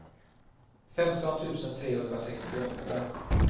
femton tusen trehundrasextioåtta